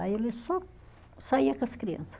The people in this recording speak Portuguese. Aí ele só saía com as criança.